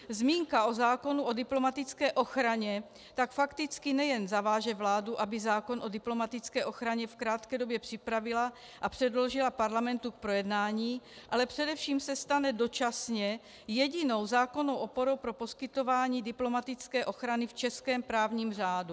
Zmínka o zákonu o diplomatické ochraně tak fakticky nejen zaváže vládu, aby zákon o diplomatické ochraně v krátké době připravila a předložila parlamentu k projednání, ale především se stane dočasně jedinou zákonnou oporou pro poskytování diplomatické ochrany v českém právním řádu.